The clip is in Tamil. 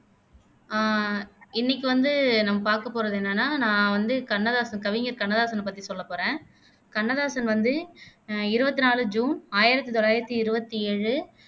ஆஹ் இன்னைக்கு வந்து நம்ம பாக்கபோறது என்னன்னா நான் வந்து கண்ணதாசன் கவிஞர் கண்ணதாசனை பத்தி சொல்ல போறேன் கண்ணதாசன் வந்து அஹ் இருவத்தி நாலு ஜூன் ஆயிரத்தி தொள்ளாயிரத்தி இருவத்தி ஏழு